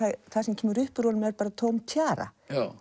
það sem kemur upp úr honum er bara tóm tjara